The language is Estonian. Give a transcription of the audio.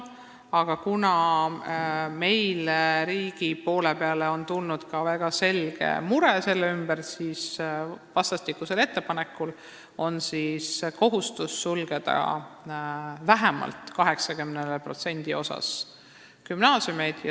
Aga kuna riigil on tekkinud selle ümber väga selge mure, siis vastastikku on lepitud kokku kohustus sulgeda gümnaasiumid vähemalt 80% ulatuses.